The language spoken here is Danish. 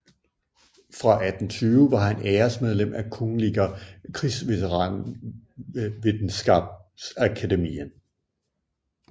Fra 1820 var han æresmedlem af Kungliga Krigsvetenskapsakademien